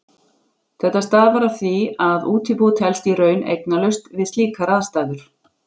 Þetta stafar af því að útibú telst í raun eignalaust við slíkar aðstæður.